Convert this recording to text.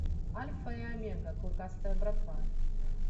альфа и омега клыкастая братва